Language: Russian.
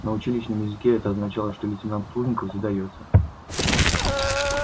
на училищном языке это означало что лейтенант плужников задаётся